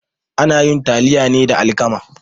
Ana yin taliya ne da alkama.